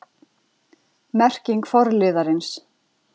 Merking forliðarins